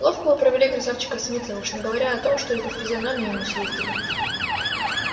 ловко вы провели красавчика смита уж не говоря о том что и по физиономии ему съездили